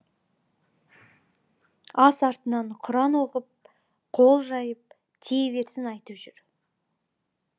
ас артынан құран оқып қол жайып тие берсін айтып жүр